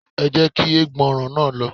Ẹ jẹ́ kí ẹgbọrọ̀n náà lọ